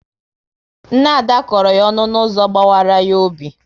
Nne Ada kọrọ ya ọnụ n'ụzọ gbawara ya obi